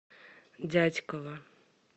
дятьково